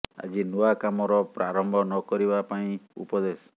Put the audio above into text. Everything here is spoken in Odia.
ଆଜି ନୂଆ କାମର ପ୍ରାରମ୍ଭ ନ କରିବା ପାଇଁ ଉପଦେଶ